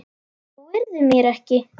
Trúirðu mér ekki?